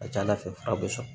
A ka ca ala fɛ fura bɛ sɔn